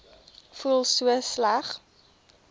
voel so sleg